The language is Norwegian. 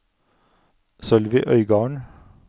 Sølvi Øygarden